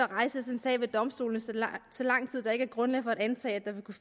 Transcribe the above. rejses en sag ved domstolene så så lang tid der ikke er grundlag for at antage at der vil kunne